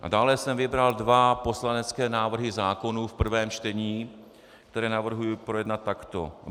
A dále jsem vybral dva poslanecké návrhy zákonů v prvém čtení, které navrhuji projednat takto: